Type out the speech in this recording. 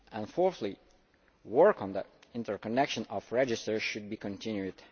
Fourthly, work on the interconnection of registers should be continued.